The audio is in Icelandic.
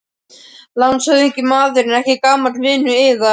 LANDSHÖFÐINGI: Maðurinn er ekki gamall vinur yðar?